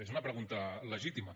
és una pregunta legítima